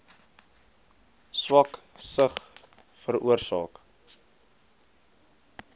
swak sig veroorsaak